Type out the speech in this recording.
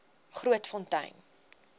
grootfontein